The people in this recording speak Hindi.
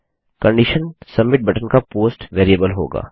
कंडिशन सबमिट बटन का पोस्ट वेरिएबल होगा